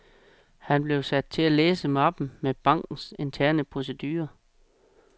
Han blev sat til at læse mappen med bankens interne procedurer.